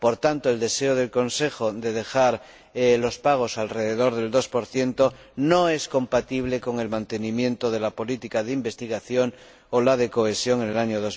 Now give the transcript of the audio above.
Por tanto, el deseo del Consejo de dejar los pagos alrededor del 2 no es compatible con el mantenimiento de la política de investigación o la de cohesión en el año